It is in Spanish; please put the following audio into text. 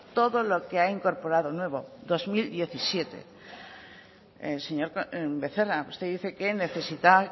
todo lo que ha incorporado nuevo dos mil diecisiete señor becerra usted dice que necesita